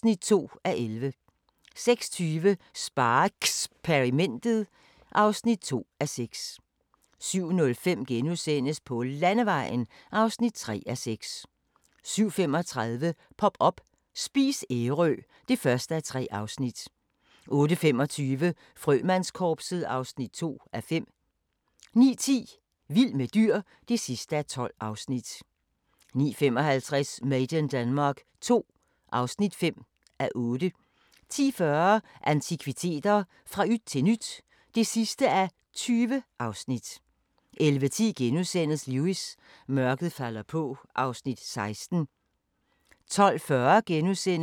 13:25: Skru tiden tilbage – til 1950'erne (5:6) 14:05: Guld i købstæderne – Holbæk (5:10)* 15:05: Kriminalkommissær Foyle (Afs. 5) 16:45: Inspector Morse: Hvem dræbte Harry Field? 19:00: Den store bagedyst (6:9) 20:00: Vores planet 2 (5:6) 21:00: TV-avisen (søn og fre) 21:15: Fodboldmagasinet 21:35: Kriminalkommissær Barnaby (Afs. 13) 23:15: Sagen genåbnet: Tro (Afs. 89)